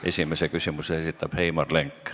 Esimese küsimuse esitab Heimar Lenk.